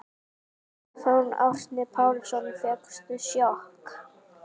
Stefán Árni Pálsson: Fékkstu sjokk?